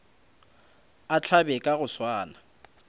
a hlabe ka go swana